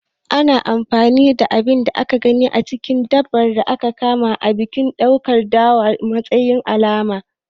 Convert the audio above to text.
Ana anfani da abin da aka gani a cikin dabbar da aka kama a bikin ɓuɗar dawa a matsayin alama.